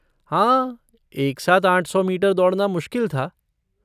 हाँ, एक साथ आठ सौ मीटर दौड़ना मुश्किल था।